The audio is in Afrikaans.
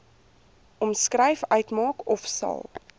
omskryf uitmaak ofsal